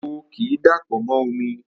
Epo ki i dapọ mo omi